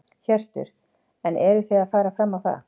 Hjörtur: En eruð þið að fara fram á það?